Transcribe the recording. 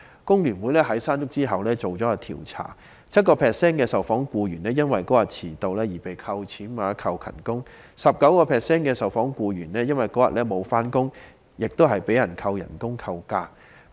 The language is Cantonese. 工聯會在"山竹"過後進行一項調查，發現 7% 的受訪僱員因當天遲到而被扣減工資或勤工獎 ，19% 的受訪僱員因當天沒有上班而被扣減工資或假期。